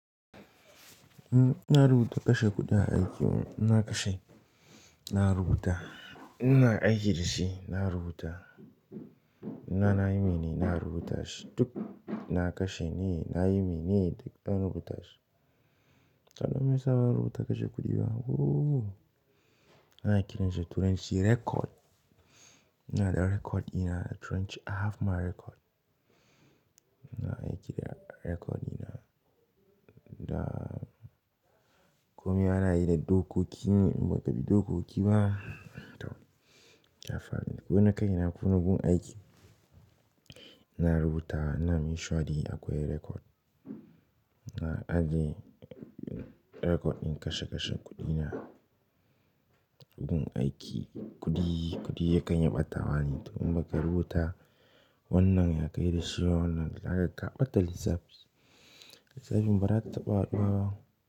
In na rubuta kashe kuɗi a aiki, ina kashe, na rubuta. Ina aiki da shi na rubuta. Ina na nayi mene ina rubuta shi duk na kashe ne, na yi mene duk an rubuta shi. Dan meyasa ban rubuta kashe kuɗi ba? Ooh! Ana kira shi turanci record. Ina da record dina turanci, I have my record. Ina aiki da record dina da komai anayi da dokoki inba kabi dokoki ba to, ya faru wani kaina kona gun aiki. Ina rubuta, ina mission shi akwai record. Na aje record din kashe kashe kudina gun aiki kudi kudi yakan iya batawa ne to inbaka rubuta wannan ya kai dashi wannan, haka kaɓata lissafi. Lissafin ba za ta taɓa haduwa ba.